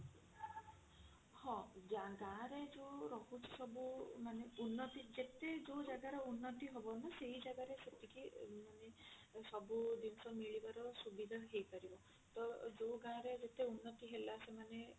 ହଁ ଗାଁ ରେ ଯଉ ରହୁଛି ସବୁ ମାନେ ଉନ୍ନତି ଯେତେ ଯଉ ଜାଗା ର ଉନ୍ନତି ହବ ନା ସେଇ ଜାଗା ରେ ସେତିକି ମାନେ ସବୁ ଜିନିଷ ମିଳିବାର ସୁବିଧା ହେଇପାରିବ। ତ ଯୋଉ ଗାଁ ରେ ଜେତୀ ଉନ୍ନତି ହେଲା